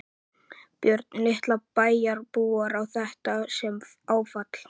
Björn: Líta bæjarbúar á þetta sem áfall?